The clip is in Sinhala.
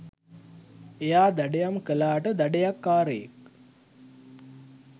එයා දඩයම් කළාට දඩයක්කාරයෙක්